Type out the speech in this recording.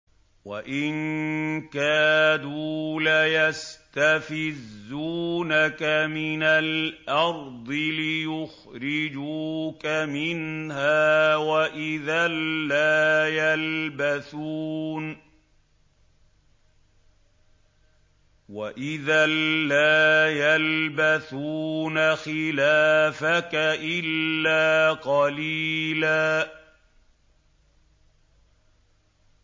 وَإِن كَادُوا لَيَسْتَفِزُّونَكَ مِنَ الْأَرْضِ لِيُخْرِجُوكَ مِنْهَا ۖ وَإِذًا لَّا يَلْبَثُونَ خِلَافَكَ إِلَّا قَلِيلًا